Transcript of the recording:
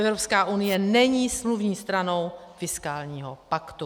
Evropská unie není smluvní stranou fiskálního paktu.